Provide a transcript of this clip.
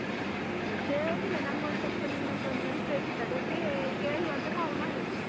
ವಿಷಯ ಏನಿಲ್ಲ ನಂಗೊಂದ್ ಸ್ವಲ್ಪ ನಿನ್ಹತ್ರ ಒಂದ್ help ಬೇಕಿತ್ತದಕ್ಕೆ ಕೇಳುವ ಅಂತ call ಮಾಡಿದ್ದು.